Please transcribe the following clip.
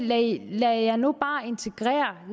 lad jer nu bare integrere